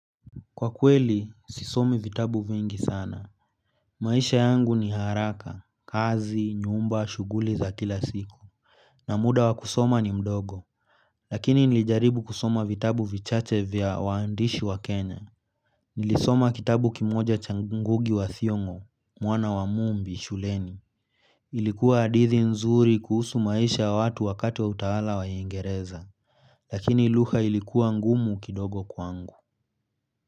Kwa kweli, sisomi vitabu vingi sana. Maisha yangu ni haraka, kazi, nyumba, shughuli za kila siku. Na muda wa kusoma ni mdogo lakini nilijaribu kusoma vitabu vichache vya waandishi wa Kenya. Nilisoma kitabu kimoja cha ngugi wa thiongo, mwana wa mumbi, shuleni. Ilikuwa hadithi nzuri kuhusu maisha ya watu wakati wa utawala wa uingereza. Lakini lugha ilikuwa ngumu kidogo kwangu.